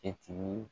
Kɛti